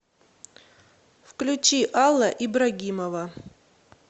включи алла ибрагимова